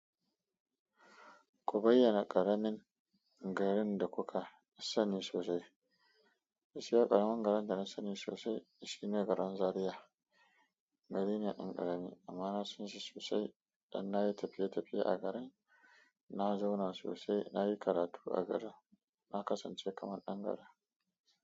Ku bayyana ƙaramin garin da kuka sani sosai. Gaskiya ƙaramin garin da na sani sosai shi ne garin Zariya. Gari ne dan ƙarami amma na san shi sosai dan na yi tafiye-tafiye a garin, na zauna sosai, na yi karatu a garin, na kasance kamar dan garin.